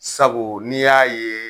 Sabu n'i y'a ye